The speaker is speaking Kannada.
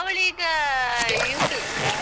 ಅವಳೀಗಾ UKG.